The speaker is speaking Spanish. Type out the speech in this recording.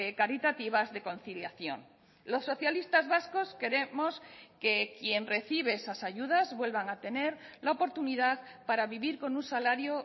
caritativas de conciliación los socialistas vascos queremos que quien recibe esas ayudas vuelvan a tener la oportunidad para vivir con un salario